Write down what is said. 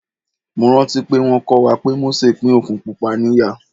Mo rántí pé wón kọ́ wa pé Mósè pín Òkun Pupa ní ìyà.